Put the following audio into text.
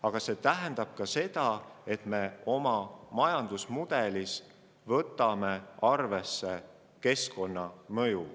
Aga see tähendab ka seda, et me võtame oma majandusmudelis arvesse keskkonnamõju.